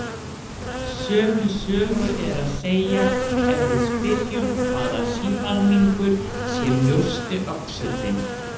Sömu sögu er að segja ef við spyrjum hvaða sívalningur sé mjósti öxullinn.